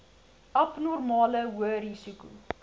abnormale hoë risiko